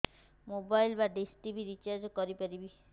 mobile ବା dish TV recharge କରି ପାରିବି